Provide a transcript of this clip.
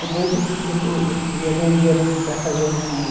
Depois ia para o, ia, vendia para fazer o fio.